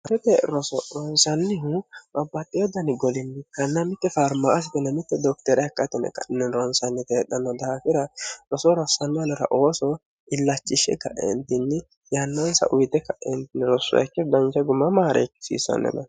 harrite roso ronsanlihu mabbaxxeho danigolinni kannaa mitte farmaa asitinamitte dookteere hakka atone ka'nnin ronsanyiyete heedhanno dahaakira rosoo ronsanni aalora ooso illachishshe kaeentinni yannaansa uyite kaeentinni rosreekke dancha gumamaareekkisiissannema